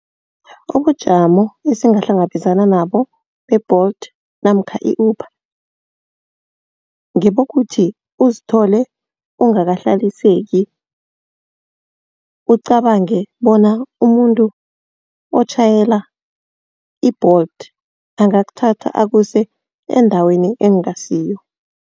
Ubujamo esingahlangabezana nabo be-Bolt namkha i-Uber. Ngebokuthi uzithole ungakahlaliseki, ucabange bona umuntu otjhayela i-Bolt angakuthatha akuse endaweni ekungasiyo.